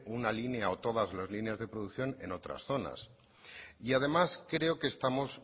una línea o todas las líneas de producción en otras zonas y además creo que estamos